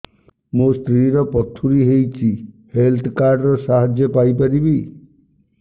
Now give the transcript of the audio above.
ମୋ ସ୍ତ୍ରୀ ର ପଥୁରୀ ହେଇଚି ହେଲ୍ଥ କାର୍ଡ ର ସାହାଯ୍ୟ ପାଇପାରିବି